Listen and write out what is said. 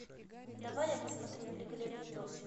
давай я посмотрю великолепный пес